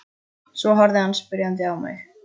Svo horfði hann spyrjandi á mig.